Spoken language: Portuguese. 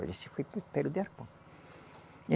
Olha, esse foi de arpão.